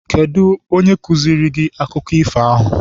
Kedụ onye kụziere gị akụkọ ifo ahụ?